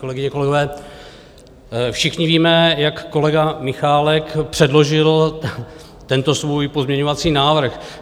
Kolegyně, kolegové, všichni víme, jak kolega Michálek předložil tento svůj pozměňovací návrh.